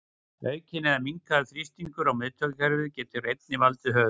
Aukinn eða minnkaður þrýstingur í miðtaugakerfi getur einnig valdið höfuðverk.